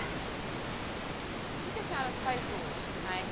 O que a senhora faz hoje na erre?